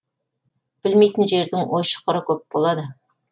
білмейтін жердің ой шұқыры көп болады